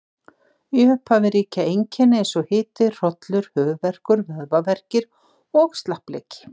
Í upphafi ríkja einkenni eins og hiti, hrollur, höfuðverkur, vöðvaverkir og slappleiki.